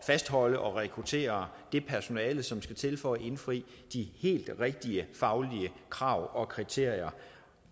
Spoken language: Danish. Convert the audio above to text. fastholde og rekruttere det personale som skal til for at indfri de helt rigtige faglige krav og kriterier